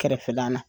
Kɛrɛfɛlan na